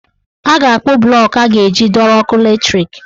Ha ga-akpụ blọk e a ga-eji dọrọ ọkụ latrik.